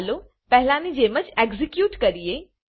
ચાલો પહેલાની જેમ જ એક્ઝેક્યુટ કરીએ